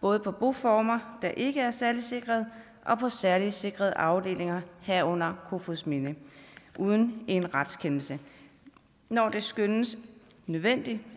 både på boformer der ikke er særligt sikrede og på særligt sikrede afdelinger herunder kofoedsminde uden en retskendelse når det skønnes nødvendigt